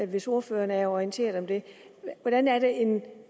hvis ordføreren er orienteret om det hvordan er det en